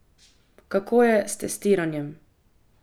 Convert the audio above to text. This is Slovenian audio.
Kako je s testiranjem?